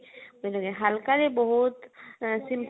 ହାଲକା ରେ ବହୁତ ଆଁ